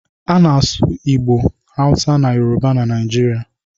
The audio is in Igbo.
A na-asụ Igbo, Hausa na Yoruba na Naijiria.